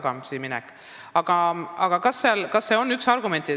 Kas see on üks argumentidest?